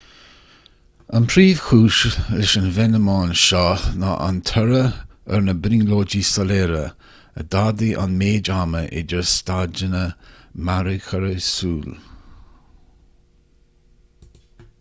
an phríomhchúis leis an bhfeiniméan seo ná an toradh ar na brionglóidí soiléire a d'fhadaigh an méid ama idir staideanna mearchorraí súl mcs